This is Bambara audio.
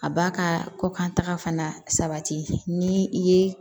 A b'a ka kokantaga fana sabati ni i ye